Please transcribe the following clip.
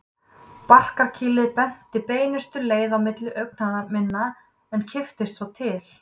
Barkakýlið benti beinustu leið á milli augna minna en kipptist svo til.